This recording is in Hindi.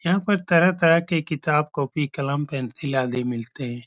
यहाँ पर तरह-तरह के किताब कॉपी कलम पेंसिल आदि मिलते हैं।